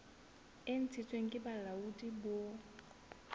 e ntshitsweng ke bolaodi bo